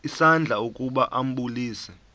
isandla ukuba ambulise